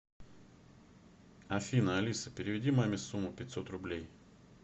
афина алиса переведи маме сумму пятьсот рублей